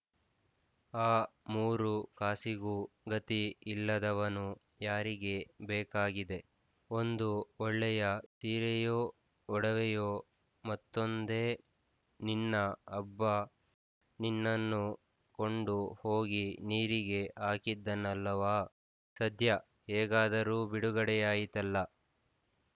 ಆ ಮೂರು ಕಾಸಿಗೂ ಗತಿ ಇಲ್ಲದವನು ಯಾರಿಗೆ ಬೇಕಾಗಿದೆ ಒಂದು ಒಳ್ಳೆಯ ತೀರೆಯೋ ಒಡವೆಯೋ ಮತ್ತೊಂದೇ ನಿನ್ನ ಅಬ್ಬ ನಿನ್ನನ್ನು ಕೊಂಡು ಹೋಗಿ ನೀರಿಗೆ ಹಾಕಿದ್ದನಲ್ಲವಾ ಸದ್ಯ ಹೇಗಾದರೂ ಬಿಡುಗಡೆಯಾಯಿತಲ್ಲ